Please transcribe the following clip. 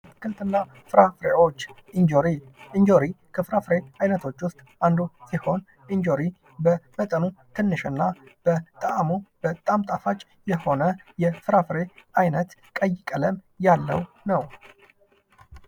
አትክልትና ፍራፍሬዎች ፦ እንጆሪ ፦ እንጀራ ከፍራፍሬዎች አይነቶች ውስጥ አንዱ ሲሆን እንጆሪ በመጠኑ ትንሽ እና በጣዕሙ በጣም ጣፋጭ የሆነ የፍራፍሬ ዓይነት ፣ ቀይ ቀለም ያለው ነው ።